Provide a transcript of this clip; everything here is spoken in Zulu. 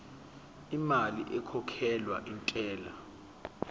lemali ekhokhelwa intela